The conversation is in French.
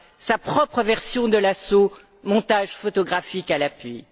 sa propre version de l'assaut, montages photographiques à l'appui